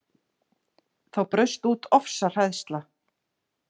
Þá braust út ofsahræðsla